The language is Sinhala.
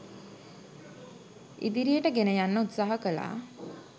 ඉදිරියට ගෙන යන්න උත්සාහ කළා.